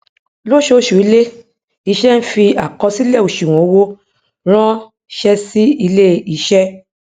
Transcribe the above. lósooṣùilé iṣẹ n fi àkọsílẹ òsùwọn owó rán ṣẹ sí ilé iṣé